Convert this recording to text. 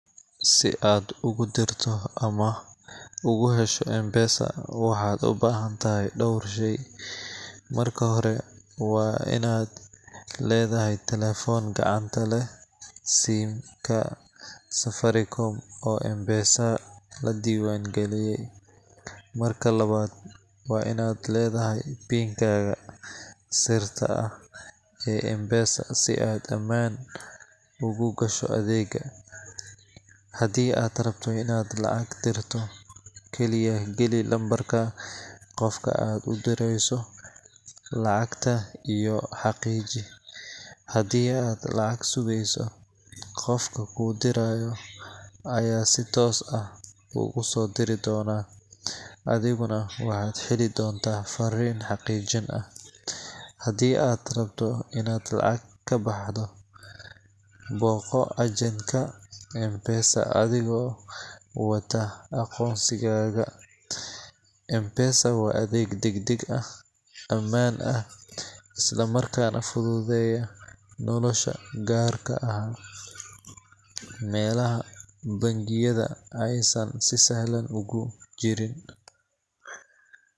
Si aad ugu dirto ama ugu hesho M-Pesa, waxaad u baahan tahay dhowr shay. Marka hore, waa inaad leedahay taleefan gacanta leh SIM ka Safaricom oo M-Pesa la diiwaangeliyey. Marka labaad, waa inaad leedahay PIN kaaga sirta ah ee M-Pesa si aad ammaan ugu gasho adeega. Haddii aad rabto inaad lacag dirto, kaliya gali lambarka qofka aad u direyso, lacagta, iyo xaqiiji. Haddii aad lacag sugayso, qofka kuu diraya ayaa si toos ah kuugu soo diri doona, adiguna waxaad heli doontaa fariin xaqiijin ah. Haddii aad rabto inaad lacag ka baxdo, booqo agent ka M-Pesa adigoo wata aqoonsigaaga. M-Pesa waa adeeg degdeg ah, ammaan ah, isla markaana fududeeya nolosha, gaarka ah meelaha bangiyada aysan si sahlan uga jirin.